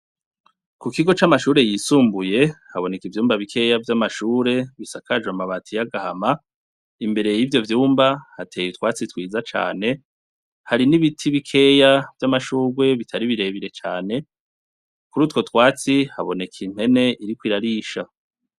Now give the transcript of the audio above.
Ku kigo c'amashure yisumbuye haboneka ivyumba bikeya vy'amashure bisakaje amabati y'agahama imbere y'ivyo vyumba hateye utwatsi twiza cane hari n'ibiti bikeya vy'amashurwe bitaribirebire cane kuri utwo twatsi haboneka impwene iriko irarisha.